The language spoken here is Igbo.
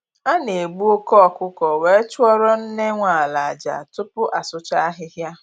A na egbu oke ọkụkọ were chụọrọ nne nwe ala aja, tupu asụcha ahịhịa